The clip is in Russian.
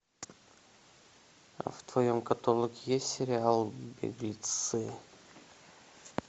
в твоем каталоге есть сериал беглецы